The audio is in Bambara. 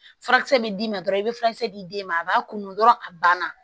Furakisɛ bɛ d'i ma dɔrɔn i bɛ furakisɛ di den ma a b'a kun dɔrɔn a banna